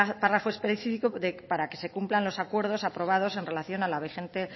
párrafo específico para que se cumplan los acuerdos aprobados en relación a la vigente